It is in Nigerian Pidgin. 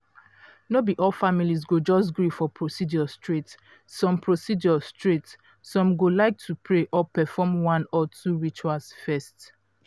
no be all families go just gree for procedure straight some procedure straight some go like to pray or perform one or two rituals first.